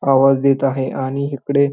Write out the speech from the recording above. आवाज देत आहे आणि हिकडे --